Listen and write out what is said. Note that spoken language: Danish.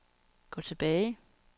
gå tilbage